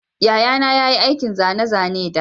Yayana ya yi aikin zane-zane da